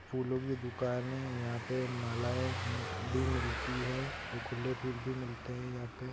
फूलों की दुकान है यहाँ पे मालाएँ भी मिलती है और खुले फूल भी मिलते है यहाँ पे |